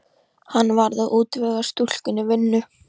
Hann varð að útvega stúlkunni vinnu.